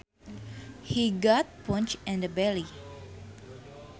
He got punched in the belly